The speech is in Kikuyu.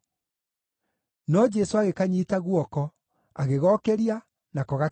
No Jesũ agĩkanyiita guoko, agĩgokĩria, nako gakĩrũgama.